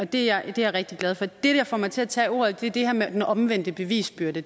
det er jeg rigtig glad for det der får mig til at tage ordet er det her med den omvendte bevisbyrde